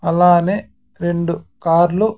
అలానే రెండు కార్ లు.